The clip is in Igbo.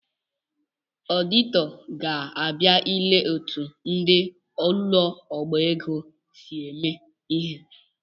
Ọdịtọ ga-abia ile etu ndị ụ̣lọọbaego si eme ihe